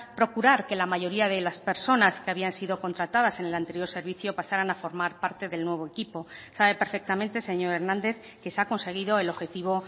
procurar que la mayoría de las personas que habían sido contratadas en el anterior servicio pasaran a formar parte del nuevo equipo sabe perfectamente señor hernández que se ha conseguido el objetivo